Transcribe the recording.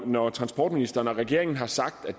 når transportministeren og regeringen har sagt at